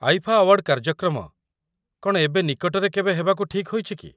IIFA award କାର୍ଯ୍ୟକ୍ରମ କ'ଣ ଏବେ ନିକଟରେ କେବେ ହେବାକୁ ଠିକ୍ ହୋଇଛି କି?